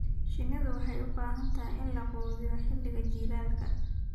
Shinnidu waxay u baahan tahay in la quudiyo xilliga jiilaalka.